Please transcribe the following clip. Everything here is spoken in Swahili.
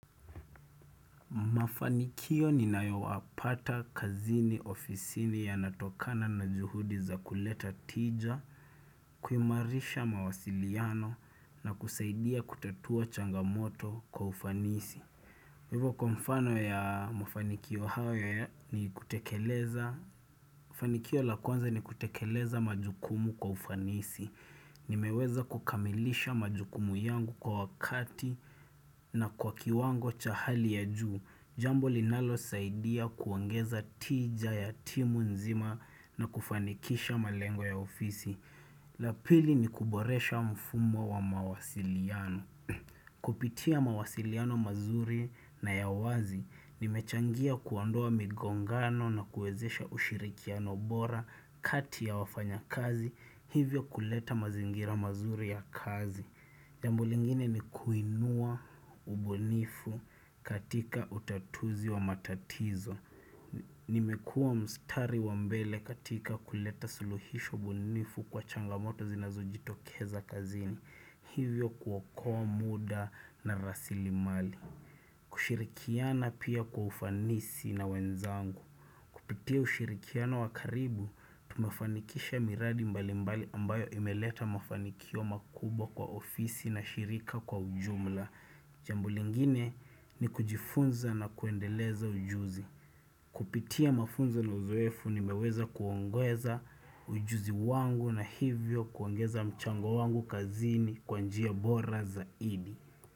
Mafanikio ninayoapata kazini ofisini yanatokana na juhudi za kuleta tija, kuimarisha mawasiliano na kusaidia kutatua changamoto kwa ufanisi. Hivo kwa mfano ya mafanikio hayo ni kutekeleza. Fanikio la kwanza ni kutekeleza majukumu kwa ufanisi. Nimeweza kukamilisha majukumu yangu kwa wakati na kwa kiwango cha hali ya juu. Jambo linalosaidia kuongeza tija ya timu nzima na kufanikisha malengwa ya ofisi la pili ni kuboresha mfumo wa mawasiliano Kupitia mawasiliano mazuri na ya wazi nimechangia kuondoa migongano na kuwezesha ushirikiano bora kati ya wafanyakazi hivyo kuleta mazingira mazuri ya kazi Jambo lingine ni kuinua ubunifu katika utatuzi wa matatizo. Nimekuwa mstari wa mbele katika kuleta suluhisho ubunifu kwa changamoto zinazojitokeza kazini. Hivyo kuokoa muda na rasilimali. Kushirikiana pia kwa ufanisi na wenzangu. Kupitia ushirikiana wa karibu, tumefanikisha miradi mbali mbali ambayo imeleta mafanikio makubwa kwa ofisi na shirika kwa ujumla. Jambo lingine ni kujifunza na kuendeleza ujuzi. Kupitia mafunzo na uzoefu nimeweza kuongeza ujuzi wangu na hivyo kuongeza mchango wangu kazini kwa njia bora zaidi.